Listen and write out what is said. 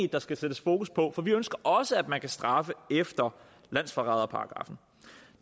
der skal sættes fokus på for vi ønsker også at man kan straffe efter landsforræderparagraffen